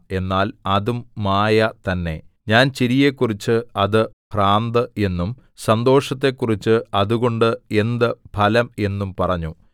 എന്നാൽ അതും മായ തന്നെ ഞാൻ ചിരിയെക്കുറിച്ച് അത് ഭ്രാന്ത് എന്നും സന്തോഷത്തെക്കുറിച്ച് അതുകൊണ്ട് എന്ത് ഫലം എന്നും പറഞ്ഞു